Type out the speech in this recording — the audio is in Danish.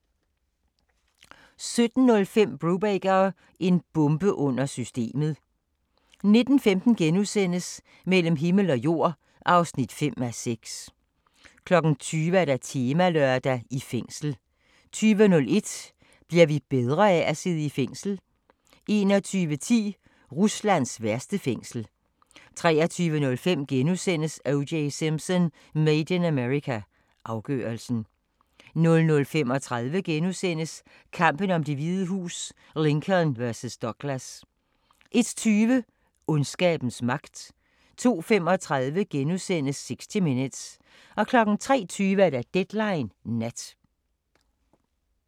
17:05: Brubaker – en bombe under systemet 19:15: Mellem himmel og jord (5:6)* 20:00: Temalørdag: I fængsel 20:01: Bliver vi bedre af at sidde i fængsel? 21:10: Ruslands værste fængsel 23:05: O.J. Simpson: Made in America – afgørelsen (5:5)* 00:35: Kampen om Det Hvide Hus: Lincoln vs. Douglas * 01:20: Ondskabens magt 02:35: 60 Minutes * 03:20: Deadline Nat